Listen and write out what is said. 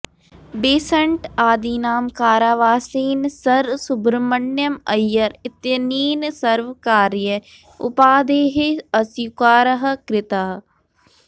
Besant आदीनां कारावासेन sir Subramaniam Iyer इत्यनेन सर्वकारीय उपाधेः अस्वीकारः कृतः